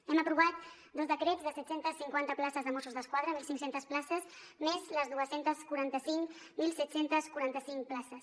hem aprovat dos decrets de set cents i cinquanta places de mossos d’esquadra mil cinc cents places més les dos cents i quaranta cinc mil set cents i quaranta cinc places